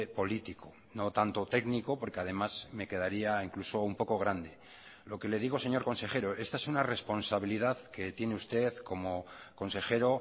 político no tanto técnico porque además me quedaría incluso un poco grande lo que le digo señor consejero esta es una responsabilidad que tiene usted como consejero